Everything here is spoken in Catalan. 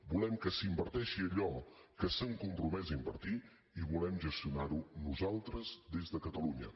volem que s’inverteixi allò que s’han compromès a invertir i volem gestionar ho nosaltres des de catalunya